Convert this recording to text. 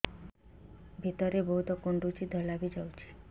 ଭିତରେ ବହୁତ କୁଣ୍ଡୁଚି ଧଳା ବି ଯାଉଛି